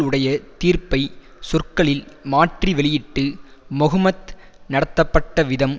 உடைய தீர்ப்பை சொற்களில் மாற்றி வெளியிட்டு மொஹ்மத் நடத்தப்பட்ட விதம்